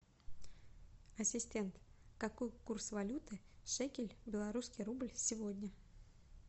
ассистент какой курс валюты шекель белорусский рубль сегодня